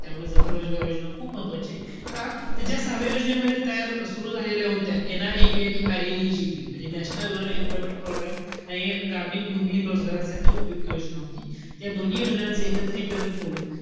त्यामुळे जवाहर रोजगार योजना खूप महत्वचीय. का? त त्या सहाव्या योजनेमध्ये तयार सुरु झालेल्या होत्या NREP आणि RLAGP म्हणजे नॅशनल रूरल एम्प्लॉयमेंट प्रोग्रॅम आणि ग्रामीण भूमिहीन रोजगारासाठी उपयुक्त योजना होती. या दोन्ही योजनांचं एकत्रीकरण करून,